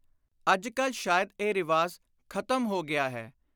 ਅੱਜ ਕਲ ਸ਼ਾਇਦ ਇਹ ਰਿਵਾਜ ਖ਼ਤਮ ਹੋ ਗਿਆ ਹੈ।